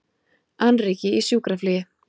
Annríki í sjúkraflugi